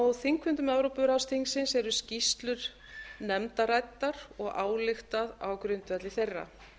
á þingfundum evrópuráðsþingsins eru skýrslur nefnda ræddar og ályktað á grundvelli þeirra